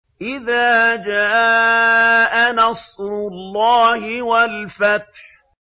إِذَا جَاءَ نَصْرُ اللَّهِ وَالْفَتْحُ